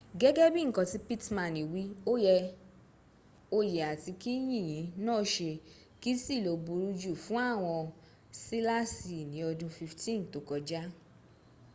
gẹ́gẹ́ bí nkan tí pitmani wí oye àti kí yìnyìn na ṣe ki sí ló burú jù fún àwọn sílasì ní ọdún 15 tókọjá